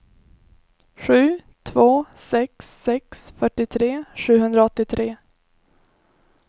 sju två sex sex fyrtiotre sjuhundraåttiotre